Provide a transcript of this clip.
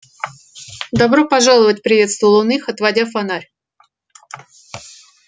добро пожаловать приветствовал их он отводя фонарь